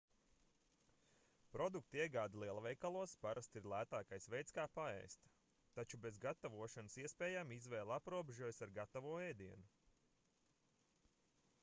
produktu iegāde lielveikalos parasti ir lētākais veids kā paēst taču bez gatavošanas iespējām izvēle aprobežojas ar gatavo ēdienu